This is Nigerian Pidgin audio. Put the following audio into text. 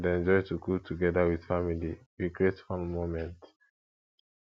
i dey enjoy to cook togeda with family make we create fun moments